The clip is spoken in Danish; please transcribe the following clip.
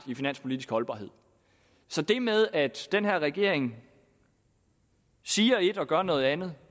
i finanspolitisk holdbarhed så det med at den her regering siger et og gør noget andet